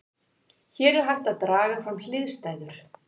Hér er hægt að draga fram hliðstæður.